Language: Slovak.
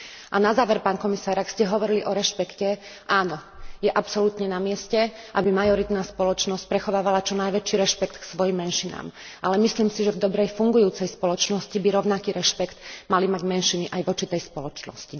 A na záver, pán komisár, ak ste hovorili o rešpekte áno, je absolútne na mieste, aby majoritná spoločnosť prechovávala čo najväčší rešpekt k svojim menšinám, ale myslím si, že v dobre fungujúcej spoločnosti by rovnaký rešpekt mali mať menšiny aj voči tejto spoločnosti.